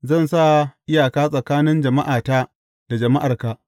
Zan sa iyaka tsakanin jama’ata da jama’arka.